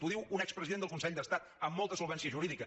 ho diu un expresident del consell d’estat amb molta solvència jurídica